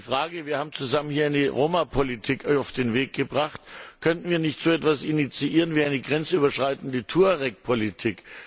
Deshalb eine Frage Wir haben zusammen hier die Romapolitik auf den Weg gebracht. Könnten wir nicht so etwas initiieren wie eine grenzüberschreitende Tuaregpolitik?